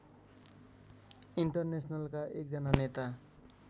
इन्टरनेसनलका एकजना नेता